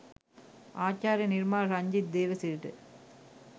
ආචාර්ය නිර්මාල් රංජිත් දේවසිරිට